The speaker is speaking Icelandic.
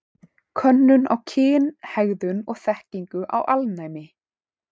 Könnun á kynhegðun og þekkingu á alnæmi.